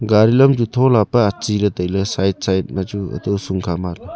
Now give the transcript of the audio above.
gari lam chu thola pe atsi le taile side side ma hato husung kha ma le.